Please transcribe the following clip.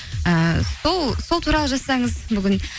ііі сол туралы жазсаңыз бүгін